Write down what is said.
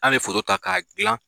An be ta ka gilan